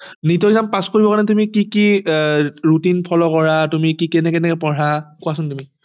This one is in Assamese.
NEETexam pass কৰিব কাৰনে তুমি কি কি আহ routine follow কৰা তুমি কেনেকে কেনেকে পঢ়া কোৱাছোন তুমি